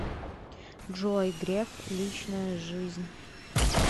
джой греф личная жизнь